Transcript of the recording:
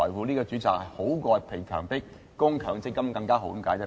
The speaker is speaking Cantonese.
這個選擇比被強迫供強積金更好。